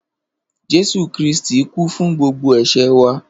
Jesu Kiristí kú fun gbogbo èsé wa.